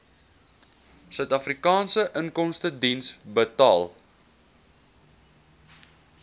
suidafrikaanse inkomstediens betaal